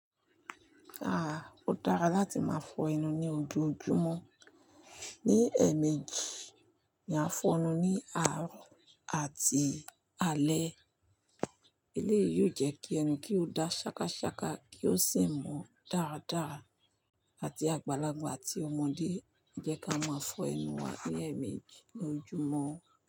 Ó dára láti máa fọ ẹnu ní ojoojúmọ́. Ni ẹ̀ẹ̀mejì ni a fọ ẹnu ní àárọ̀ àti alẹ́. Eléyìí yóò jẹ́ kí ẹnu kí ó da ṣákaṣaka kí ó sì ń mọ dáradára àti àgbàlagbà àti ọmọdé. Jẹ́ ká máa fọ ẹnu wa ní ẹ̀ẹ̀mejì lójoojúmọ́